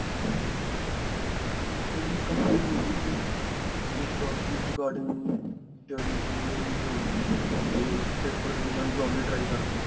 study complete ਹੋ ਗਈ ਸੀ ਉਸ ਤੋਂ ਬਾਅਦ ਇਸ regarding paper ਦੇ ਕੇ ਮਹਾਂ job ਲਈ try ਕਰਦੇ ਹਾਂ